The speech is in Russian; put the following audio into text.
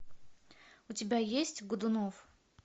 у тебя есть годунов